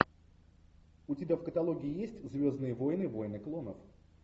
у тебя в каталоге есть звездные войны войны клонов